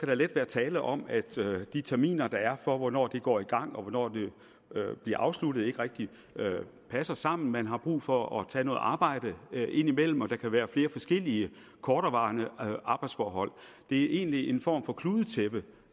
der let være tale om at de terminer der er for hvornår den går i gang og hvornår den bliver afsluttet ikke rigtig passer sammen man har brug for at tage noget arbejde indimellem og der kan være flere forskellige korterevarende arbejdsforhold det er egentlig i en form for kludetæppe